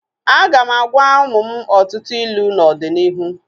Aga m agwa ụmụ m ọtụtụ ilu n'ọdịnihu